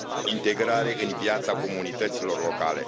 integrare în viața comunităților locale.